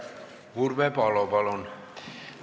Urve Palo, palun!